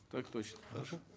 так точно хорошо